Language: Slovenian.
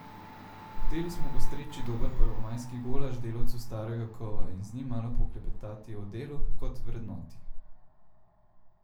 Hoteli smo postreči dober prvomajski golaž delavcu starega kova in z njim malo poklepetati o delu kot vrednoti.